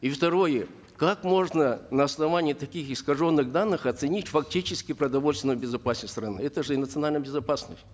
и второе как можно на основании таких искаженных данных оценить фактически продовольственную безопасность страны это же и национальная безопасность